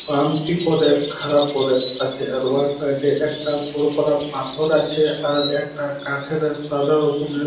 শান্তি করে খাড়া করে আছে আর ওয়ার সাইড -এ একটা বড় খানা পাথর আছে। আর একটা কাঠের সাদা রকমের।